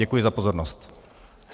Děkuji za pozornost.